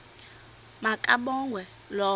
ma kabongwe low